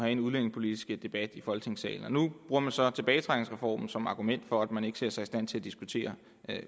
en udlændingepolitisk debat i folketingssalen nu bruger man så tilbagetrækningsreformen som et argument for at man ikke ser sig i stand til at diskutere